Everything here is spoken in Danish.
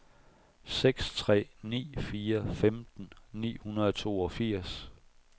seks tre ni fire femten ni hundrede og toogfirs